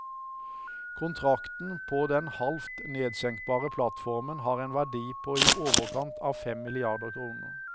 Kontrakten på den halvt nedsenkbare plattformen har en verdi på i overkant av fem milliarder kroner.